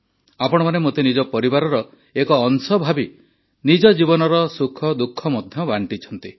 ଆପଣମାନେ ମୋତେ ନିଜ ପରିବାରର ଏକ ଅଂଶ ଭାବି ନିଜ ଜୀବନର ସୁଖଦୁଃଖ ମଧ୍ୟ ବାଣ୍ଟିଛନ୍ତି